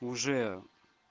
уже